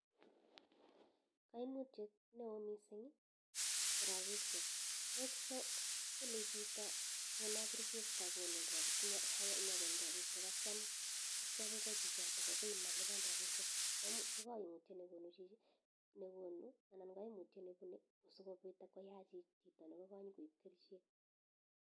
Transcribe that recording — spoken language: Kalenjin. Kaimutyet neoo mising ko rapishek kole chito kono kerichek sakonin rapishek atyam kwa chichoto akoi malipan rapishek kokaimutyet nekonu chichi anan kaimutyet nepune sikopoit koyach chito nenyskoibe kerichek .